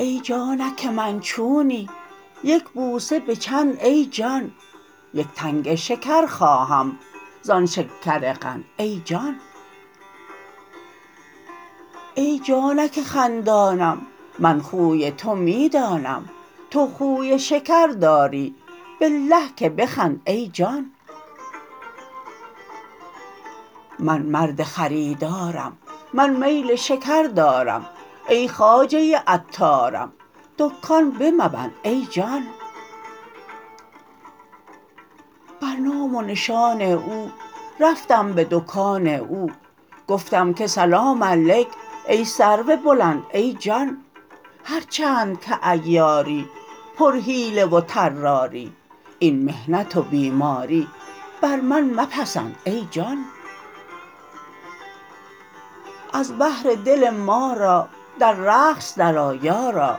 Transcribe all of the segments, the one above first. ای جانک من چونی یک بوسه به چند ای جان یک تنگ شکر خواهم زان شکرقند ای جان ای جانک خندانم من خوی تو می دانم تو خوی شکر داری بالله که بخند ای جان من مرد خریدارم من میل شکر دارم ای خواجه عطارم دکان بمبند ای جان بر نام و نشان او رفتم به دکان او گفتم که سلام علیک ای سرو بلند ای جان هر چند که عیاری پرحیله و طراری این محنت و بیماری بر من مپسند ای جان از بهر دل ما را در رقص درآ یارا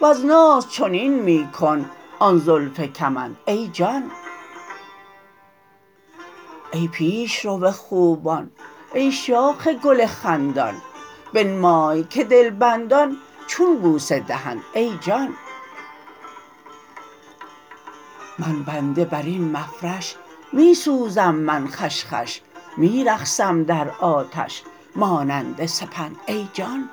وز ناز چنین می کن آن زلف کمند ای جان ای پیش رو خوبان ای شاخ گل خندان بنمای که دلبندان چون بوسه دهند ای جان من بنده بر این مفرش می سوزم من خوش خوش می رقصم در آتش مانند سپند ای جان